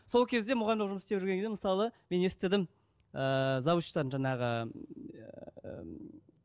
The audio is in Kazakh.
сол кезде мұғалім болып жұмыс істеп жүрген кезде мысалы мен естідім ііі завучтан жаңағы ыыы